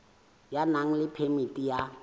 ya nang le phemiti ya